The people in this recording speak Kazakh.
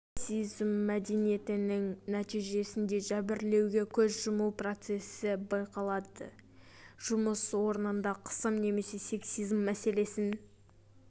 сексизм мәдениетінің нәтижесінде жәбірлеуге көз жұму процесі байқалады жұмыс орнында қысым немесе сексизм мәселесін